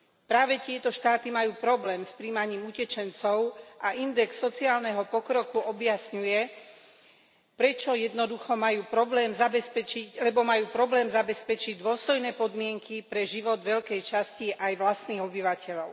Práve tieto štáty majú problém s prijímaním utečencov a index sociálneho pokroku objasňuje, prečo jednoducho majú problém zabezpečiť dôstojné podmienky pre život veľkej časti aj vlastných obyvateľov.